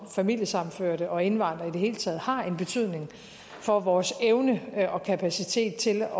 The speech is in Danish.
og familiesammenførte og indvandrere i det hele taget har en betydning for vores evne og kapacitet til at